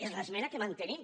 és l’esmena que mantenim